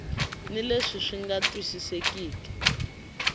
ni leswi swi nga twisisekeki